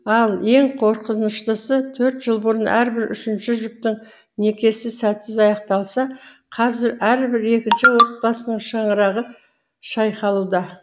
ал ең қорқыныштысы төрт жыл бұрын әрбір үшінші жұптың некесі сәтсіз аяқталса қазір әрбір екінші отбасының шаңырағы шайқалуда